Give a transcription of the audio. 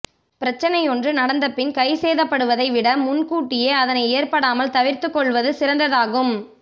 பிரச்சனையொன்று நடந்தபின் கைசேதப்படுவதை விட முன் கூட்டியே அதனைத் ஏற்படாமல் தவர்த்துக் கொள்வது சிறந்த்தாகும்